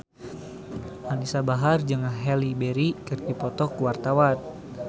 Anisa Bahar jeung Halle Berry keur dipoto ku wartawan